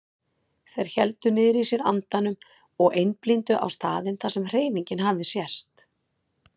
Þeir héldu niðri í sér andanum og einblíndu á staðinn þar sem hreyfingin hafði sést.